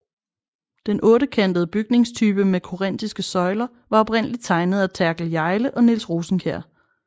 Den ottekantede bygningstype med korinthiske søjler var oprindeligt tegnet af Therkel Hjejle og Niels Rosenkjær